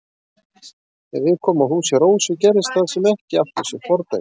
Þegar við komum að húsi Rósu gerðist það sem ekki átti sér fordæmi.